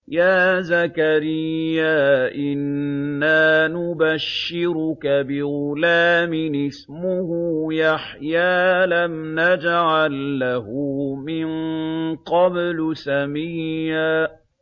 يَا زَكَرِيَّا إِنَّا نُبَشِّرُكَ بِغُلَامٍ اسْمُهُ يَحْيَىٰ لَمْ نَجْعَل لَّهُ مِن قَبْلُ سَمِيًّا